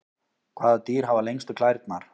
Hvaða dýr hafa lengstu klærnar?